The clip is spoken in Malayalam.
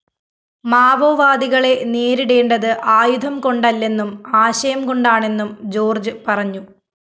മാവോവാദികളെ നേരിടേണ്ടത് ആയുധം കൊണ്ടല്ലെന്നും ആശയംകൊണ്ടാണെന്നും ജോര്‍ജ് പറഞ്ഞു